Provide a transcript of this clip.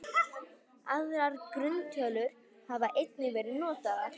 Aðrar grunntölur hafa einnig verið notaðar.